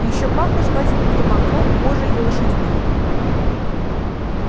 и ещё пахло жевательным табаком кожей и лошадьми